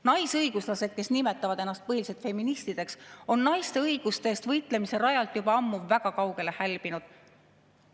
Naisõiguslased, kes nimetavad ennast põhiliselt feministideks, on naiste õiguste eest võitlemise rajalt juba ammu väga kaugele hälbinud.